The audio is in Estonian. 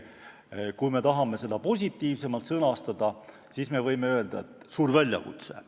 Kui me tahame seda positiivsemalt sõnastada, siis tegu on suure väljakutsega.